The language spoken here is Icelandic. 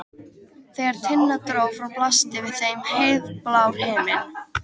Þegar Tinna dró frá blasti við þeim heiðblár himinn.